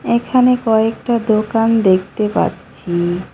এখানে কয়েকটা দোকান দেখতে পাচ্ছি।